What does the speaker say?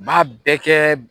Maa bɛɛ kɛ